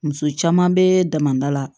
Muso caman bɛ damada la